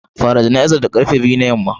Fara jana'izar da karfe biyu na yamma.